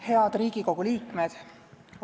Head Riigikogu liikmed!